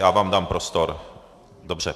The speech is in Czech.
Já vám dám prostor, dobře.